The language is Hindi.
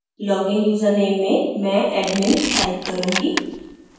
login यूजरनेम में मैं admin type करूँगी